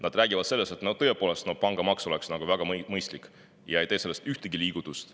Nad räägivad sellest, et pangamaks oleks tõepoolest väga mõistlik, aga ei tee selle ühtegi liigutust.